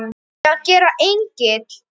Á ég að gera engil?